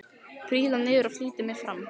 Príla niður og flýti mér fram.